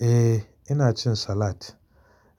Eh ina cin salad.